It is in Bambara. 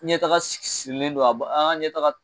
Ɲɛtaga sirilen don a ba an ka ɲɛtaga